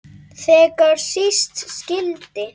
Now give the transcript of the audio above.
Þegar síst skyldi.